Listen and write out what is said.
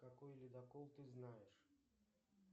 какой ледокол ты знаешь